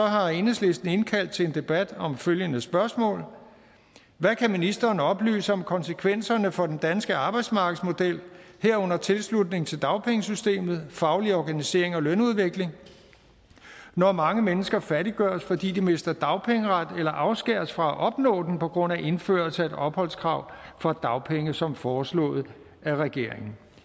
har enhedslisten indkaldt til en debat om følgende spørgsmål hvad kan ministeren oplyse om konsekvenserne for den danske arbejdsmarkedsmodel herunder tilslutning til dagpengesystemet faglig organisering og lønudvikling når mange mennesker fattiggøres fordi de mister dagpengeret eller afskæres fra at opnå den på grund af indførelse af et opholdskrav for dagpenge som foreslået af regeringen